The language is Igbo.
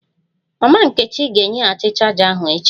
Mama nkechi ga-enyeghachi chaja ahu echi